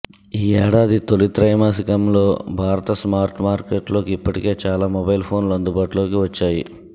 ఈ ఏడాది తొలి త్రైమాసికంలో భారత స్మార్ట్ మార్కెట్లోకి ఇప్పటికే చాలా మొబైల్ ఫోన్లు అందుబాటులోకి వచ్చాయి